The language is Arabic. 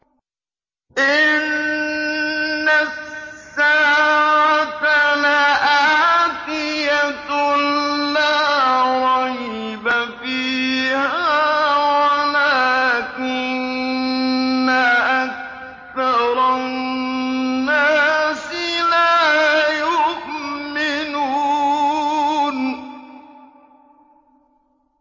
إِنَّ السَّاعَةَ لَآتِيَةٌ لَّا رَيْبَ فِيهَا وَلَٰكِنَّ أَكْثَرَ النَّاسِ لَا يُؤْمِنُونَ